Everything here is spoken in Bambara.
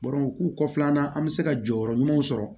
k'u kɔfɛla an bɛ se ka jɔyɔrɔ ɲumanw sɔrɔ